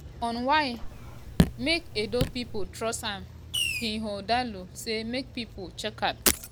on why make edo pipo trust am ighodalo say make pipo check out